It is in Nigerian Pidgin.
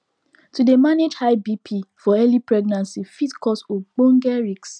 to dey manage high bp for early pregnancy fit cause ogboge risks